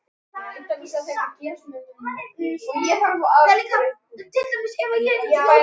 Verður góð saga.